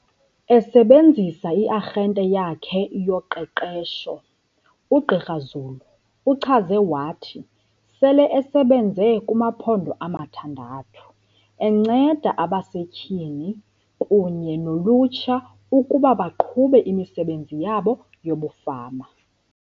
Esebenzisa i-arhente yakhe yoqeqesho, uGqr Zulu uchaze wathi sele esebenze kumaphondo amathandathu, enceda abasetyhini kunye nolutsha ukuba baqhube imisebenzi yabo yobufama.